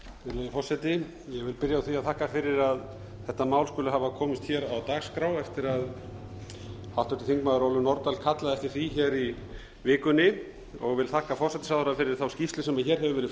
vil byrja á að þakka fyrir að þetta mál skuli hafa komist hér á dagskrá eftir að háttvirtur þingmaður ólöf nordal kallaði eftir því hér í vikunni og vil þakka forsætisráðherra fyrir þá skýrslu sem hér hefur verið